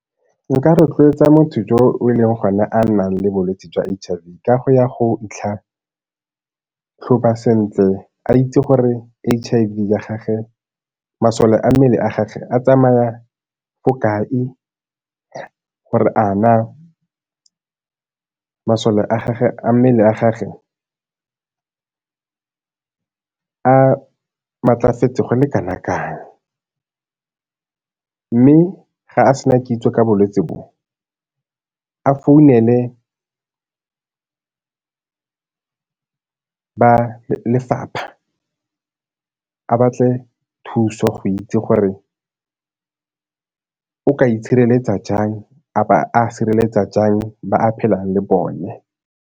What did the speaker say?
Nka rotloetsa motho jo e leng gone a nnang le bolwetse jwa H_I_V ka go ya go itlhatlhoba sentle a itse gore H_I_V ya gagwe, masole a mmele a gagwe a tsamaya ko kae. Gore a na masole a gagwe a mmele a gagwe a maatlafetse go le go kana kang, mme ga a sena kitso ka bolwetse bo, a founele ba lefapha, a batle thuso go itse gore o ka itshereletsa jang a bo a sireletsa jang ba a phelang le bone.